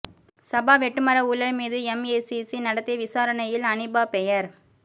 சபா வெட்டுமர ஊழல் மீது எம்ஏசிசி நடத்திய விசாரணையில் அனீபா பெயர்